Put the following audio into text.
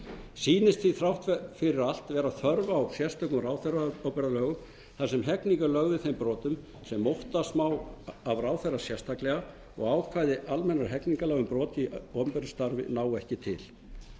sýnist því þrátt fyrir allt vera þörf á sérstökum ráðherraábyrgðarlögum þar sem hegning er lögð við þeim brotum sem óttast má af ráðherra sérstaklega og ákvæði almennra hegningarlaga um brot í opinberu starfi ná ekki til